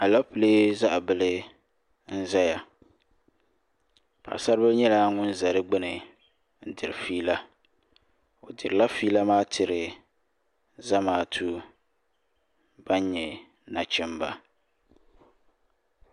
alɛpilɛ zaɣ bili n ʒɛya paɣasaribili nyɛla ŋun ʒɛ di gbuni n diri fiila o dirila fiila maa tiri zamaatu ban nyɛ nachimba